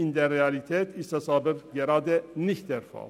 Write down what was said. In der Realität ist das jedoch nicht der Fall.